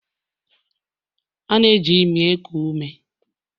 A na-eji imi eku ume